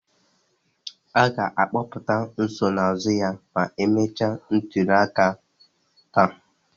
A ga-akpọpụta nsonaazụ ya ma emechaa ntuliaka taa